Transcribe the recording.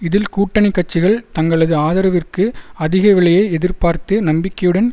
இதில் கூட்டணி கட்சிகள் தங்களது ஆதரவிற்கு அதிக விலையை எதிர்பார்த்து நம்பிக்கையுடன்